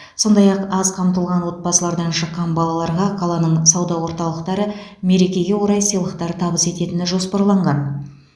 сондай ақ аз қамтылған отбасылардан шыққан балаларға қаланың сауда орталықтары мерекеге орай сыйлықтар табыс ететіні жоспарланған